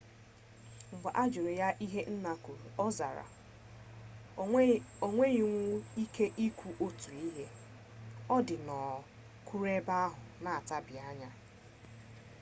mgbe a jụrụ ya ihe nna kwuru ọ zara o nwenwughị ike ikwu otu ihe ọ dị nnọọ kwụrụ ebe ahụ na-atabianya